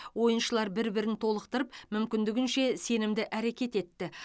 ойыншылар бір бірін толықтырып мүмкіндігінше сенімді әрекет етті